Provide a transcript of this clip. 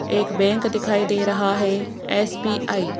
एक बैंक दिखाई दे रहा है एस_बी_आई ।